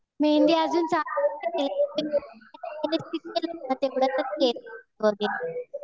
मेहेंदी अजून चालू नाही केलं.